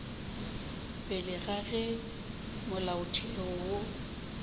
pele ga ge molaotheo wo